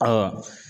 Ɔ